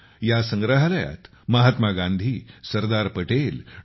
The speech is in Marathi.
या संग्रहालयात महात्मा गांधी सरदार पटेल डॉ